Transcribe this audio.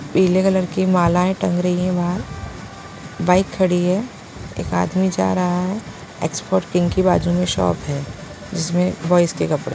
पीले कलर की मालाएं टंग रही है बाहर बाइक खड़ी है एक आदमी जा रहा है एक्सपोर्ट किंग की बाजू में शॉप है जिसमें बॉइज के कपड़े--